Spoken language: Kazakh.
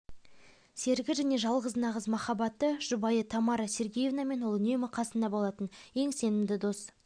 серігі және жалғыз нағыз махаббаты жұбайы тамара сергеевнамен ол үнемі қасында болатын ең сенімді дос